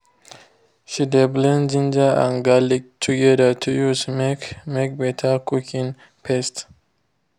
she de blend ginger and garlic together to use make make better cooking paste